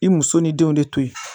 I muso ni denw de toyi